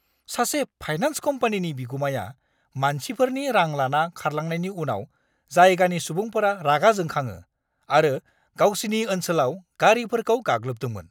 सासे फाइनेन्स कम्पानिनि बिगुमाया मानसिफोरनि रां लाना खारलांनायनि उनाव जायगानि सुबुंफोरा रागा जोंखाङो आरो गावसिनि ओनसोलाव गारिफोरखौ गाग्लोबदोंमोन।